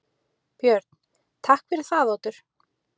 Björn: Takk fyrir það, Oddur.